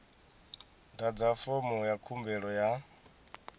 ḓadza fomo ya khumbelo ya